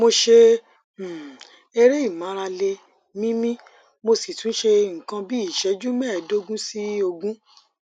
mo ṣe um eré ìmárale míímí mo sì tún ṣe nǹkan bí iṣẹju mẹẹẹdógún sí ogún